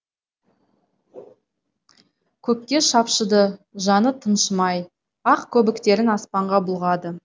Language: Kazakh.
көкке шапшыды жаны тыншымай ақ көбіктерін аспанға бұлғады